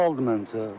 Normaldır, məncə.